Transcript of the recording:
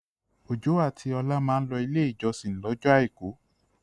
Olú àti Ọlá máa ń lọ Ilé-ìjọsìn lọ́jọ́ àìkú.